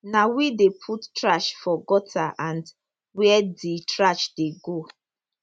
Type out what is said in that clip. na we dey put trash for gutter and wia di trash dey go